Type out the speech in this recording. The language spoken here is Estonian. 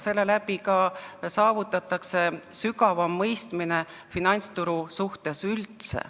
Sellega saavutataks ka finantsturu sügavam mõistmine üldse.